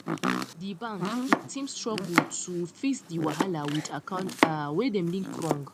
di bank it team struggle to fix di wahala with accounts um wey dem link wrong